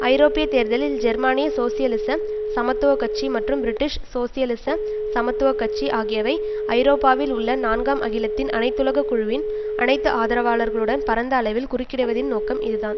ஐரோப்பிய தேர்தலில் ஜெர்மானிய சோசியலிச சமத்துவ கட்சி மற்றும் பிரிட்டிஷ் சோசியலிச சமத்துவ கட்சி ஆகியவை ஐரோப்பாவில் உள்ள நான்காம் அகிலத்தின் அனைத்துலக குழுவின் அனைத்து ஆதரவாளர்களுடன் பரந்த அளவில் குறுக்கிடுவதின் நோக்கம் இதுதான்